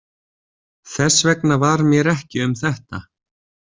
Þess vegna var mér ekki um þetta.